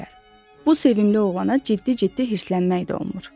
Bu sevimli oğlana ciddi-ciddi hirslənmək də olmur.